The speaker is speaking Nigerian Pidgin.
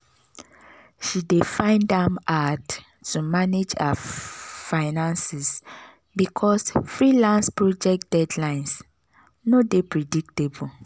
she dey find am hard to manage her finances because freelance project deadlines no dey predictable.